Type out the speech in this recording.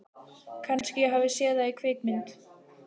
Kannski ég hafi séð það í kvikmynd.